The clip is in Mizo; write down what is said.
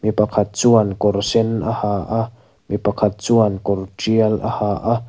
mi pakhat chuan kawr sen a ha a mi pakhat chuan kawr tial a ha a.